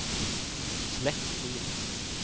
slett fil